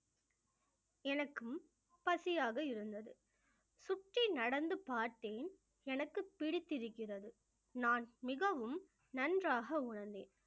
எனக்கும் பசியாக இருந்தது சுற்றி நடந்து பார்த்தேன் எனக்கு பிடித்திருக்கிறது நான் மிகவும் நன்றாக உணர்ந்தேன்